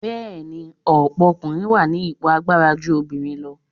Bẹ́ẹ̀ni, ọ̀pọ̀ ọkùnrin wà ní ipò agbára ju obìnrin lọ.